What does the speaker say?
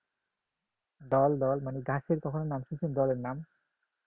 দল দল মানে গাছের কখন নাম শুনেছেন দলের নাম